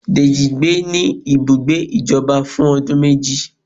Dejí gbé ní ibùgbé ìjọba fún ọdún méjì